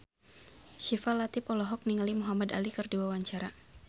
Syifa Latief olohok ningali Muhamad Ali keur diwawancara